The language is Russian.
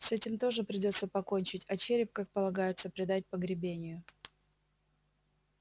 с этим тоже придётся покончить а череп как полагается предать погребению